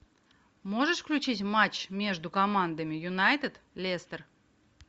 можешь включить матч между командами юнайтед лестер